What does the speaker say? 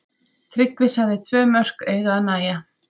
Tryggvi sagði tvö mörk eiga að nægja.